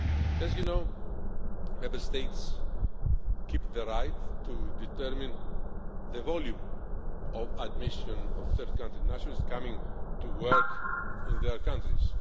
As you know, Member States keep the right to determine the volume of admission of third country nationals coming to work in their countries.